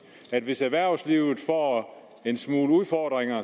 at hvis erhvervslivet får en smule udfordringer